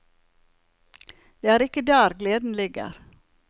Det er ikke der gleden ligger.